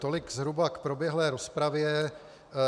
Tolik zhruba k proběhlé rozpravě.